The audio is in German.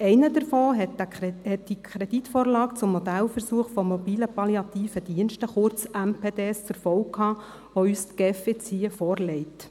Einer davon hat die Kreditvorlage zum Modellversuch mit Mobilen Palliativen Diensten (MPD) nach sich gezogen, den uns die GEF nun vorlegt.